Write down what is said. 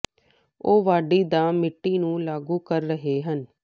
ਉਹ ਵਾਢੀ ਦਾ ਮਿੱਟੀ ਨੂੰ ਲਾਗੂ ਕਰ ਰਹੇ ਹਨ